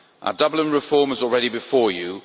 our Dublin reform is already before you